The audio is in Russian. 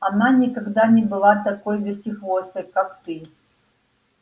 она никогда не была такой вертихвосткой как ты